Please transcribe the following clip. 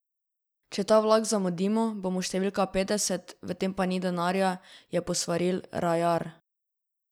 Če ta vlak zamudimo, bomo številka petdeset, v tem pa ni denarja, je posvaril Rajar.